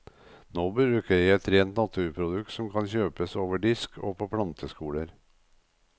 Nå bruker jeg et rent naturprodukt som kan kjøpes over disk og på planteskoler.